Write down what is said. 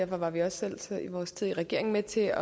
var vi også selv i vores tid i regering med til